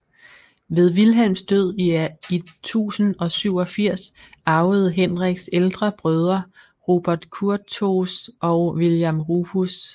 Ved Vilhelms død i 1087 arvede Henriks ældre brødre Robert Curthose og William Rufus hhv